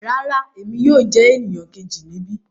Rárá, Emi yóò jẹ eniyan keji nibi